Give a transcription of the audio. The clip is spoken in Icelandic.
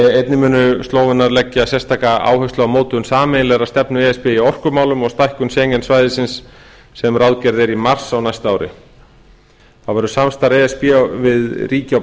einnig munu slóvenar leggja sérstaka áherslu á mótun sameiginlegrar stefnu e s b í orkumálum og stækkun schengen svæðisins sem ráðgerð er í mars á næsta ári þá verður samstarf e s b við ríki á